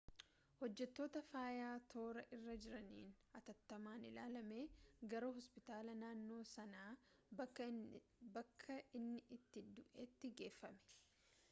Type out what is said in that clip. hojjettoota fayyaa toora irra jiraniin atattamaan ilaalamee gara hospitaala naannoo sanaa bakka inni itti du'eetti geeffame